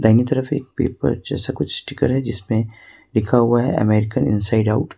Gujarati paper जैसा कुछ sticker है जिसमें लिखा हुआ है अमेरिकन इन साइड आउट --